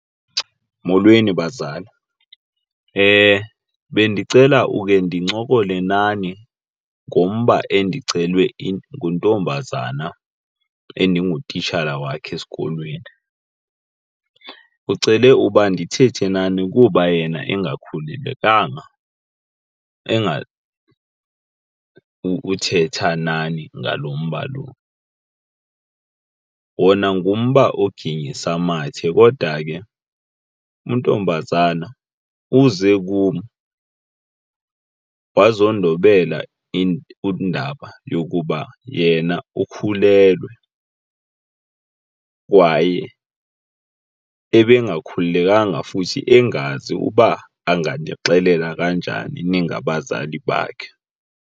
Molweni bazali, bendicela uke ndincokole nani ngomba endicelwe nguntombazana endingutitshala wakhe esikolweni. Ucele uba ndithethe nani kuba yena engakhululekanga uthetha nani ngalo mba lo. Wona ngumba oginyisa amathe kodwa ke untombazana uze kum wazondobela indaba yokuba yena ukhulelwe kwaye ebengakhululekanga futhi engazi uba anganixelela kanjani ningabazali bakhe.